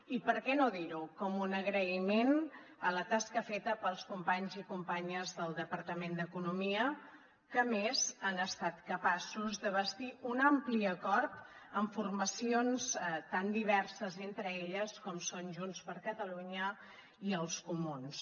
i per què no dirho com un agraïment a la tasca feta pels companys i companyes del departament d’economia que a més han estat capaços de bastir un ampli acord amb formacions tan diverses entre elles com són junts per catalunya i els comuns